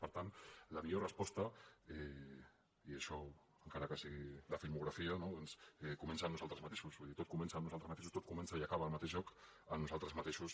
per tant la millor resposta i això encara que sigui de filmografia no comença en nosaltres mateixos vull dir tot comença en nosaltres mateixos tot comença i acaba al mateix lloc en nosaltres mateixos